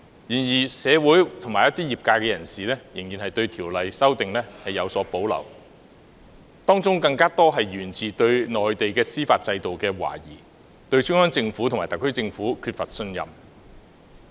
然而，一些社會人士及業界人士仍然對《條例》的修訂有所保留，當中更多是源自對內地司法制度的懷疑，對中央政府及特區政府缺乏信任。